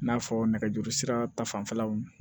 I n'a fɔ nɛgɛjuru sira ta fanfɛlaw